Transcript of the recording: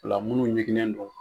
Ola munnu ɲinginnen don.